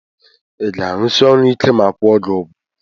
Iga arụsi ọrụ ike ma akwụọ gi ugwọ?